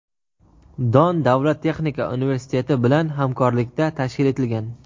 Don davlat texnika universiteti bilan hamkorlikda tashkil etilgan:.